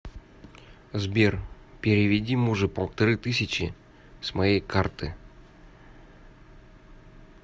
сбер переведи мужу полторы тысячи с моей карты